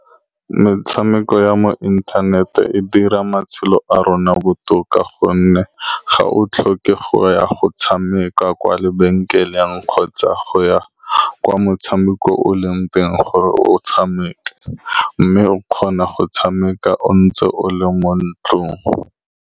Metshameko ya mo internet-e e dira matshelo a rona botoka, ka gonne ga o tlhoke go ya go tshameka kwa lebenkeleng kgotsa go ya kwa motshameko o leng teng gore o tshameke, mme o kgona go tshameka o ntse o le mo ntlong.